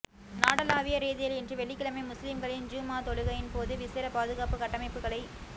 நாடளாவிய ரீதியில் இன்று வெள்ளிக்கிழமை முஸ்லிம்களின் ஜும் ஆ தொழுகையின் போது விசேட பாதுகாப்பு கட்ட மைப்புக்களை